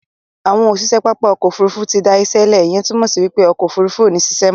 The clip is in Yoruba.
Àwọn òṣìṣẹ́ pápá òkò òfúrùfú ti dá işe le, ìyẹn túmọ̀ sí wípé òkò òfúrùfú ò ní sise